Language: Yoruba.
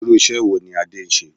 Irú ìṣe wo ní Adé ń ṣe?